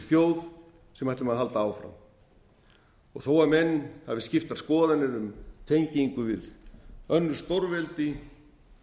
sem ætlum að halda áfram þó menn hafi skiptar skoðanir um tengingu við önnur stórveldi